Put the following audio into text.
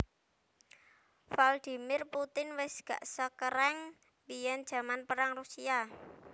Vladimir Putin wes gak sekereng biyen jaman perang Rusia